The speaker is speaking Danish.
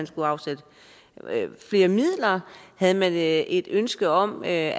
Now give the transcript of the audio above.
skulle afsættes flere midler havde man et ønske om at